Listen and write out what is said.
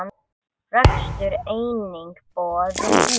Rekstur einnig boðinn út.